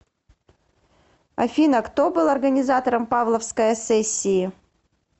афина кто был организатором павловская сессии